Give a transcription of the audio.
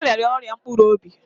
Ọ rịara ọrịa mpkuru obi